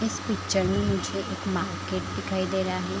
इस पिक्चर में मुझे एक मार्केट दिखाई दे रहा है ।